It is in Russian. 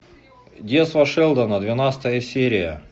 детство шелдона двенадцатая серия